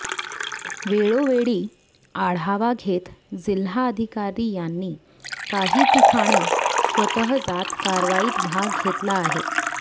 वेळोवेळी आढावा घेत जिल्हाधिकारी यांनी काही ठिकाणी स्वतः जात कारवाईत भाग घेतला आहे